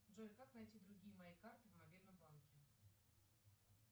джой как найти другие мои карты в мобильном банке